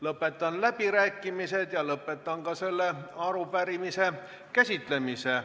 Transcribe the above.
Lõpetan läbirääkimised ja lõpetan ka selle arupärimise käsitlemise.